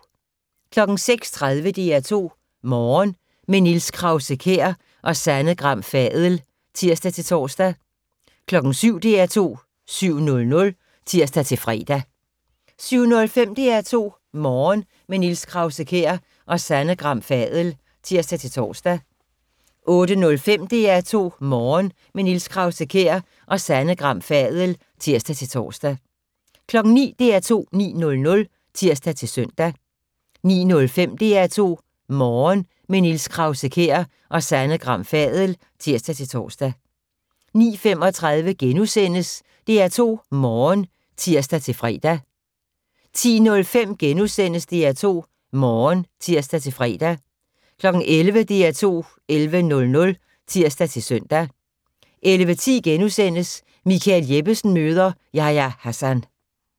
06:30: DR2 Morgen - med Niels Krause-Kjær og Sanne Gram Fadel (tir-tor) 07:00: DR2 7:00 (tir-fre) 07:05: DR2 Morgen - med Niels Krause-Kjær og Sanne Gram Fadel (tir-tor) 08:05: DR2 Morgen - med Niels Krause-Kjær og Sanne Gram Fadel (tir-tor) 09:00: DR2 9:00 (tir-søn) 09:05: DR2 Morgen - med Niels Krause-Kjær og Sanne Gram Fadel (tir-tor) 09:35: DR2 Morgen *(tir-fre) 10:05: DR2 Morgen *(tir-fre) 11:00: DR2 11:00 (tir-søn) 11:10: Michael Jeppesen møder ... Yahya Hassan *